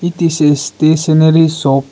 it is a stationary shop.